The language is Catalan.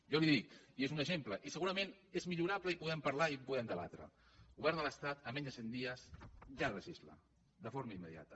jo li dic i n’és un exemple i segurament és millora·ble i en podem parlar i ho podem debatre el govern de l’estat en menys de cent dies ja legisla de forma immediata